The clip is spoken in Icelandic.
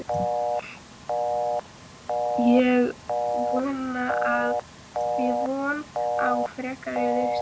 Er von á frekari liðsstyrk?